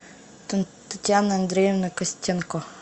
татьяна андреевна костенко